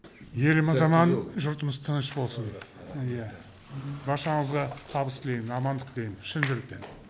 еліміз аман жұртымыз тыныш болсын ия баршаңызға табыс тілеймін амандық тілеймін шын жүректен